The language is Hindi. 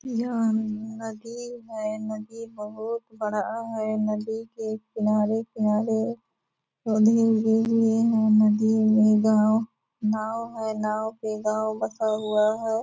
यह नदी है नदी बहुत बड़ा है नदी के किनारे-किनारे पौधे भी दिए हैं नदी में गाँव नाव है नाव पे गाँव बसा हुआ है।